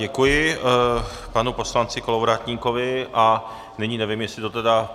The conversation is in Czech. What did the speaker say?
Děkuji panu poslanci Kolovratníkovi a nyní nevím, jestli to tedy...